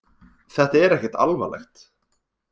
Þetta er ekkert alvarlegt